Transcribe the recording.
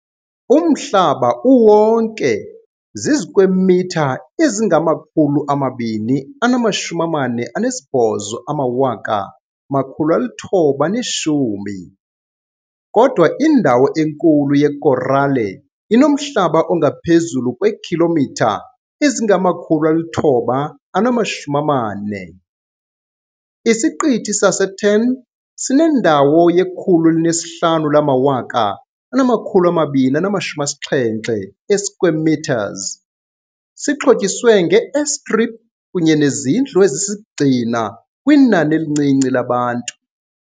Umhlaba uwonke zizikwemitha ezingama-248,910, kodwa indawo enkulu yekorale inomhlaba ongaphezulu kweekhilomitha ezingama-940. Isiqithi saseTern sinendawo ye-105,270 square metres, sixhotyiswe nge-airstrip kunye nezindlu ezisisigxina kwinani elincinci labantu.